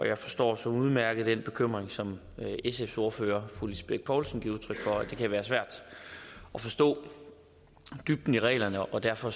jeg forstår så udmærket den bekymring som sfs ordfører fru lisbeth bech poulsen giver udtryk for nemlig at det kan være svært at forstå dybden af reglerne og derfor